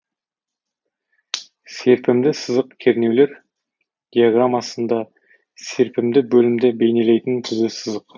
серпімді сызық кернеулер диаграммасында серпімді бөлімді бейнелейтін түзу сызық